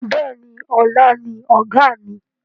Bẹ́ẹ̀ni, ọlá ni Ọ̀gá mi.